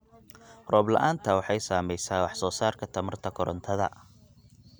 Roob la'aanta waxay saamaysaa wax soo saarka tamarta korontada.